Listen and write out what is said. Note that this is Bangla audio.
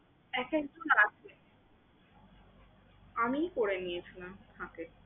এখন তো আমার আছে। আমিই করে নিয়েছিলাম ফাঁকে।